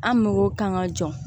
An mɔgɔw kan ka jɔ